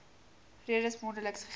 redes mondeliks gegee